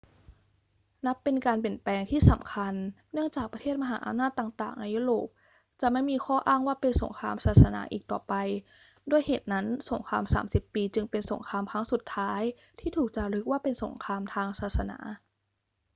นับเป็นการเปลี่ยนแปลงที่สำคัญเนื่องจากประเทศมหาอำนาจต่าง ๆ ในยุโรปจะไม่มีข้ออ้างว่าเป็นสงครามศาสนาอีกต่อไป ด้วยเหตุนั้น สงครามสามสิบปีจึงเป็นสงครามครั้งสุดท้ายที่ถูกจารึกว่าเป็นสงครามทางศาสนา